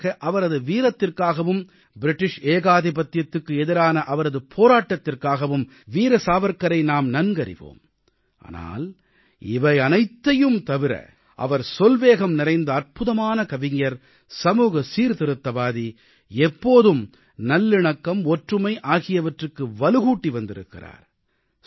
பொதுவாக அவரது வீரத்திற்காகவும் பிரிட்டிஷ் ஏகாதிபத்தியத்துக்கு எதிரான அவரது போராட்டத்திற்காகவும் வீர சாவர்க்காரை நாம் நன்கறிவோம் ஆனால் இவையனைத்தையும் தவிர அவர் சொல்வேகம் நிறைந்த அற்புதமான கவிஞர் சமூக சீர்திருத்தவாதி எப்போதும் நல்லிணக்கம் ஒற்றுமை ஆகியவற்றுக்கு வலுகூட்டி வந்திருக்கிறார்